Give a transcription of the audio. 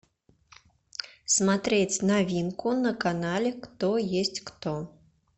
смотреть новинку на канале кто есть кто